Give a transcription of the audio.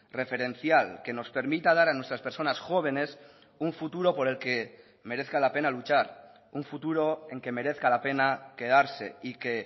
referencial que nos permita dar a nuestras personas jóvenes un futuro por el que merezca la pena luchar un futuro en que merezca la pena quedarse y que